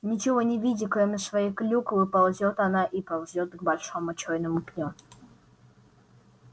ничего не видя кроме своей клюквы ползёт она и ползёт к большому чёрному пню